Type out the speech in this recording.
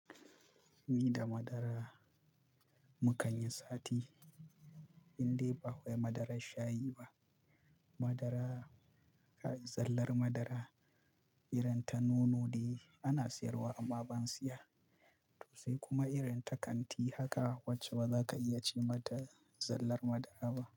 Ni da madara mukanyi sati, indai ba wai madarar shayi ba. Madara, zallar madara, irin ta nono dai ana siyarwa amma ban siya. To sai kuma irin ta kanti haka wacce bazaka iya ce mata zallar madara ba.